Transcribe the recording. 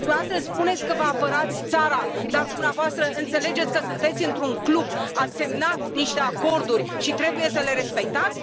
Dumneavoastră spuneți că vă apărați țara, dar dumneavoastră înțelegeți că sunteți într un club, ați semnat niște acorduri și trebuie să le respectați?